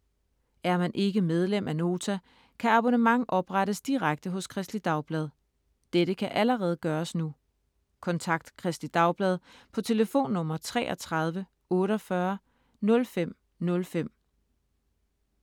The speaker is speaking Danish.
Er man ikke medlem af Nota kan abonnement oprettes direkte hos Kristeligt Dagblad. Dette kan allerede gøres nu. Kontakt Kristeligt Dagblad på telefonnummer 33 48 05 05.